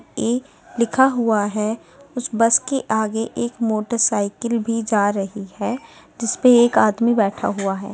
ए लिखा हुआ है उस बस के आगे एक मोटरसाइकिल भी जा रही है जिसपे एक आदमी बैठा हुआ है।